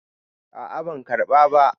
a a ban karɓa ba